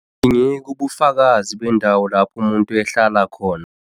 Abudingeki ubufakazi bendawo lapho umuntu ehlala khona.